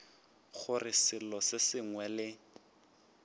gore selo se sengwe le